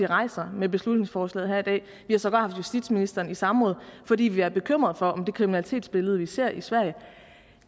rejser med beslutningsforslaget her i dag vi har sågar haft justitsministeren i samråd fordi vi er bekymrede for om det kriminalitetsbillede vi ser i sverige